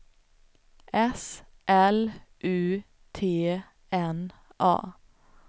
S L U T N A